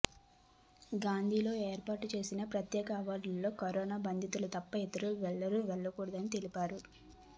గాందీలో ఏర్పాటు చేసిన ప్రత్యేక వార్డులో కరోనా బాధితులు తప్ప ఇతరులెవరూ వెళ్లకూడదని తెలిపారు